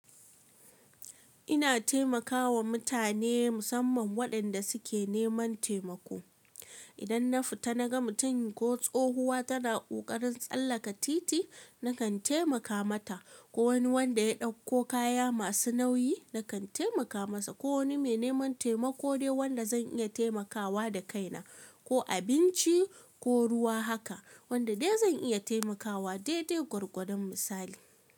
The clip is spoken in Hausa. Ina taimakawa mutane musamman waɗanda suke neman taimako. Idan na fita na ga mutum ko tsohuwa tana ƙoƙarin tsallaka titi nakan taimaka mata ko wani wanda ya ɗauko kaya masu nauyi nakan taimaka masa ko wani mai neman taimako dai wanda zan iya taimakawa da kaina ko abinci ko ruwa haka wanda dai zan iya taimakawa dai dai gwargwadon misali.